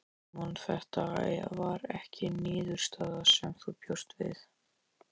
Símon: Þetta var ekki niðurstaða sem þú bjóst við?